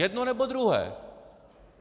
Jedno, nebo druhé.